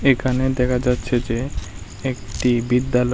এখানে দেখা যাচ্ছে যে একটি বিদ্যালয়।